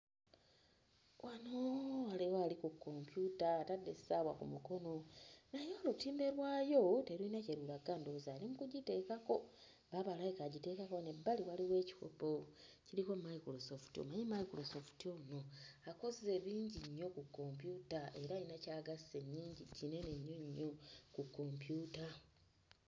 Wano waliwo ali ku kompyuta atadde essaawa ku mukono naye olutimbe lwayo teruyina kye lulaga ndowooza ali mu kugiteekako baaba alabika agiteekako wano ebbali waliwo ekikopo kiriko Microsoft, omanyi Microsoft ono akoze bingi nnyo ku kompyuta era ayina ky'agasse nnyingi kinene nnyo nnyo ku kompyuta.